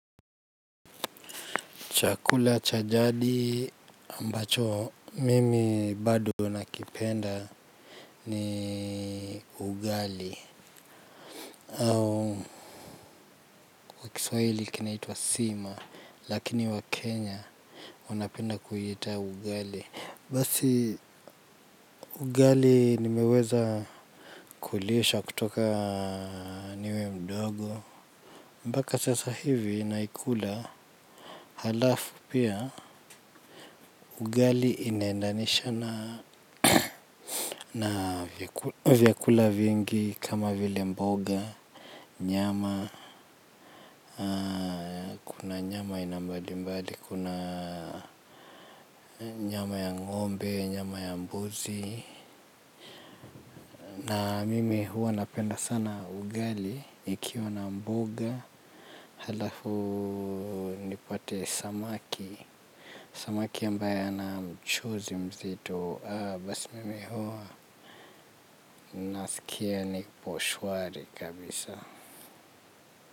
Chakula cha jadi ambacho mimi bado nakipenda ni ugali. Au kwa Kiswahili kinaitwa sima. Lakini Wakenya wanapenda kuita ugali basi. Ugali nimeweza kulishwa kutoka niwe mdogo mbaka sasa hivi naikula halafu pia ugali inaendanisha na na vyakula vingi kama vile mboga, nyama, na nyama aina mbalimbali, kuna nyama ya ng'ombe, nyama ya mbuzi. Na mimi huwa napenda sana ugali ikiwa na mboga halafu nipate samaki, samaki ambaye ana mchuzi mzito, basi mimi huwa nasikia niposhwari kabisa.